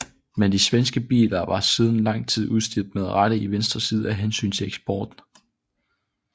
Men de svenske biler var siden lang tid udstyret med rattet i venstre side af hensyn til eksporten